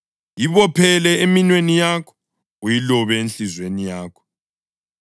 Ibophele eminweni yakho; uyilobe enhliziyweni yakho.